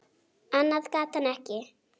Annað gat hann ekki.